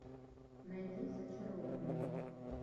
найди зачарованные